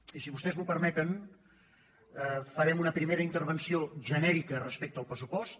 i si vostès m’ho permeten farem una primera intervenció genè·rica respecte al pressupost